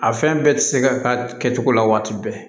A fɛn bɛɛ tɛ se ka k'a kɛcogo la waati bɛɛ